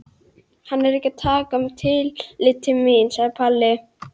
Hann er ekki að taka tillit til mín sagði Palli.